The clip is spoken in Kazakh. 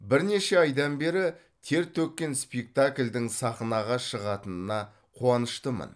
бірнеше айдан бері тер төккен спектакльдің сахнаға шығатынына қуаныштымын